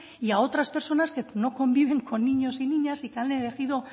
y a otras personas que no conviven con niños y niñas y que han elegido